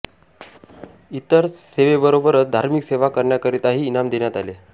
इतर सेवेबरोबरच धार्मिक सेवा करण्याकरिताही इनाम देण्यात आले